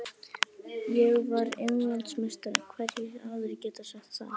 Ég var Englandsmeistari, hverjir aðrir geta sagt það?